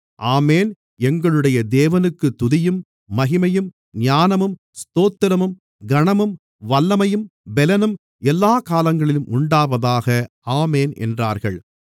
ஆமென் எங்களுடைய தேவனுக்குத் துதியும் மகிமையும் ஞானமும் ஸ்தோத்திரமும் கனமும் வல்லமையும் பெலனும் எல்லாக் காலங்களிலும் உண்டாவதாக ஆமென் என்றார்கள்